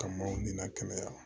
Ka maaw nin na kɛnɛya